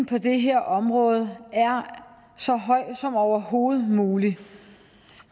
på det her område er så høj som overhovedet muligt